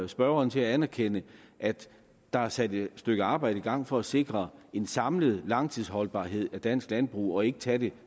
spørgeren til at anerkende at der er sat et stykke arbejde i gang for at sikre en samlet langtidsholdbarhed af dansk landbrug så det ikke tages